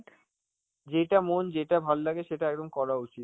যেইতা মন যেটা ভালো লাগে সেটা একদম করা উচিত.